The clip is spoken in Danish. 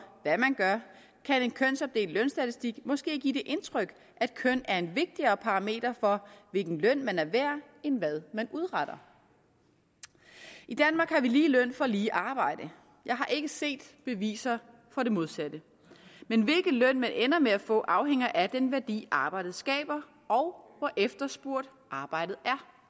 hvad man gør kan en kønsopdelt lønstatistik måske give det indtryk at køn er en vigtigere parameter for hvilken løn man er værd end hvad man udretter i danmark har vi lige løn for lige arbejde jeg har ikke set beviser for det modsatte men hvilken løn man ender med at få afhænger af den værdi arbejdet skaber og hvor efterspurgt arbejdet